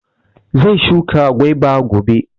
Zai shuka gwaba gobe